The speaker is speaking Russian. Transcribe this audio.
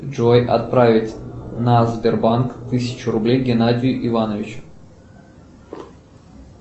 джой отправить на сбербанк тысячу рублей геннадию ивановичу